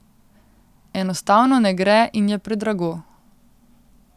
Enostavno ne gre in je predrago.